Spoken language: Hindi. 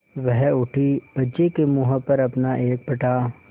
वह उठी बच्चे के मुँह पर अपना एक फटा